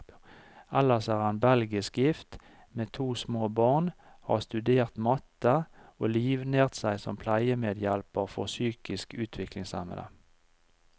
Ellers er han belgisk gift, med to små barn, har studert matte, og livnært seg som pleiemedhjelper for psykisk utviklingshemmede.